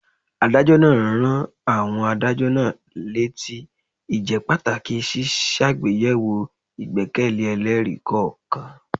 Adájọ́ náà rán àwọn adájọ́ náà létí ìjẹ́pàtàkì ṣíṣàgbéyẹ̀wò ìgbẹ́kẹ̀lé ẹlẹ́rìí kọ̀ọ̀kan.